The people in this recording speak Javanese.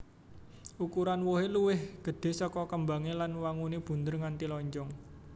Ukuran wohé luwih gedhé saka kembangé lan wanguné bunder nganti lonjong